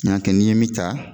N y'a kɛ ni n ye min ta